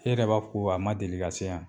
E yɛrɛ b'a fɔ ko a ma deli ka se yan.